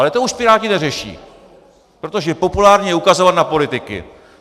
Ale to už piráti neřeší, protože populární je ukazovat na politiky.